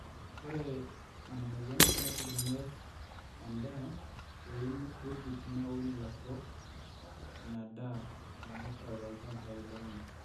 ore ina mweyian nebulunye endaa too wuejitin naaun ilaturok inadaa naitau toolchambai lenye